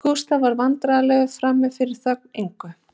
Gústaf varð vandræðalegur frammi fyrir þögn Ingu